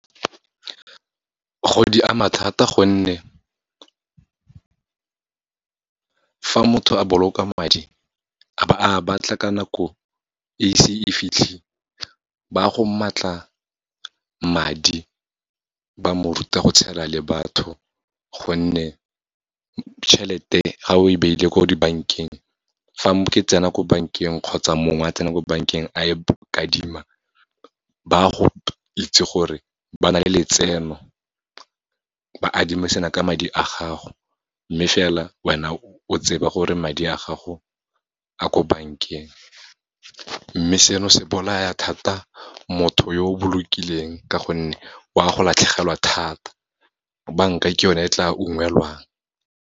Gore di ama thata gonne, fa motho a boloka madi, a ba a batla ka nako e se e fitlhile, ba go maatla madi, ba mo ruta go tshela le batho, gonne tjhelete ga o e beile ko dibankeng, fa ke tsena ko bankeng kgotsa mongwe a tsena ko bankeng, a e kadima, ba go itse gore ba na le letseno, ba adimisana ka madi a gago, mme fela wena o tsebe gore madi a gago a ko bankeng. Mme seno se bolaya thata motho yo o bolokileng, ka gonne o a go latlhegelwa thata, banka ke yone e tla ungwelwang.